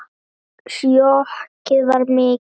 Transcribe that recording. Sjokkið var mikið.